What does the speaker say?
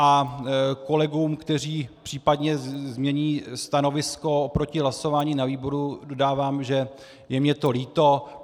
A kolegům, kteří případně změní stanovisko oproti hlasování na výboru, dodávám, že je mi to líto.